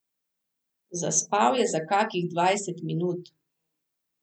Zaspal je za kakih dvajset minut.